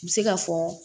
N bɛ se ka fɔ